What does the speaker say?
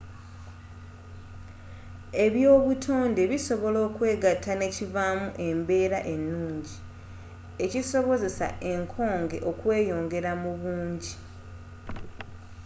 ebya obutoonde bisobola okwegatta nekivaamu embeera enuungi ekisobozesa enkoge okweyongera mubuungi